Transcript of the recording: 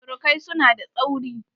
Surukaisu na da tsauri.